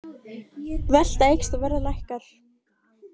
Velta eykst og verð lækkar